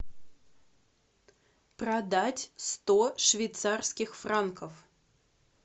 продать сто швейцарских франков